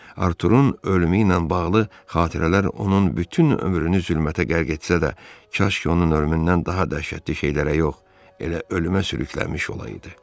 Arturun ölümü ilə bağlı xatirələr onun bütün ömrünü zülmətə qərq etsə də, kaş ki, onun ölümündən daha dəhşətli şeylərə yox, elə ölümə sürüklənmiş olaydı.